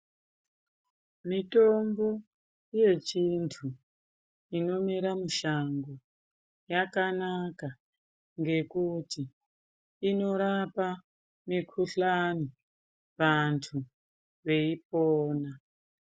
Mitombo yechiantu inomera mushango yakanaka ngekuti inorapa mikhuhlani vantu veipona.